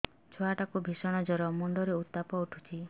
ଛୁଆ ଟା କୁ ଭିଷଣ ଜର ମୁଣ୍ଡ ରେ ଉତ୍ତାପ ଉଠୁଛି